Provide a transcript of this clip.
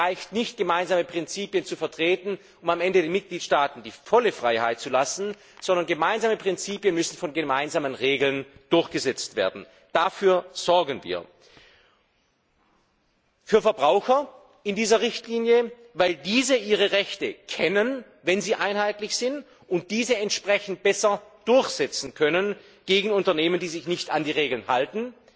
Es reicht nicht, gemeinsame Prinzipien zu vertreten, um am Ende den Mitgliedstaaten die volle Freiheit zu lassen, sondern gemeinsame Prinzipien müssen durch gemeinsame Regeln durchgesetzt werden. Daher sorgen wir in dieser Richtlinie für Verbraucher, weil diese ihre Rechte kennen, wenn sie einheitlich sind, und diese entsprechend besser durchsetzen können gegen Unternehmen, die sich nicht an die Regeln halten,